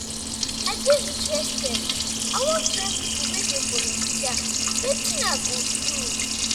i dey interested i wan join pipo wey dey volunteer wetin i go do?